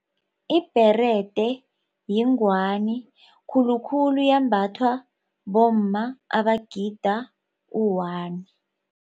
Ibherede yingwani khulukhulu yembathwa bomma abagida u-one.